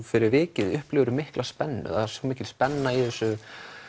fyrir vikið upplifirðu mikla spennu það er svo mikil spenna í þessu